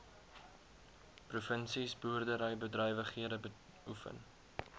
provinsies boerderybedrywighede beoefen